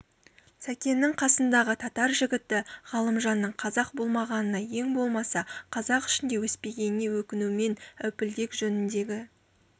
сәкеннің қасындағы татар жігіті ғалымжанның қазақ болмағанына ең болмаса қазақ ішінде өспегеніне өкінумен әупілдек жөніндегі